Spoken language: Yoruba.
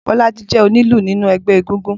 Bolaji jè ónilù ninú ẹgbẹ égúngún